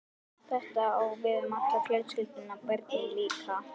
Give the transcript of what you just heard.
Þetta á við um alla fjölskylduna- börnin líka.